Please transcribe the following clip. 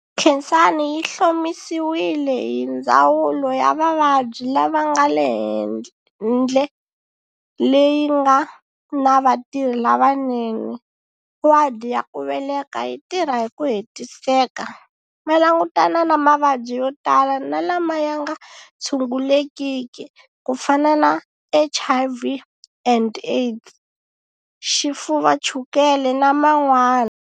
Khensani yi hlomisiwile hi ndzawulo ya vavabyi lava nga le hendle leyi nga na vatirhi lavanene, wadi yaku veleka yi tirha hi ku hetiseka, va langutana na mavabyi yo tala na lama yanga tshungulekiki kufana na HIV and AIDS, xifuva, chukele na man'wana.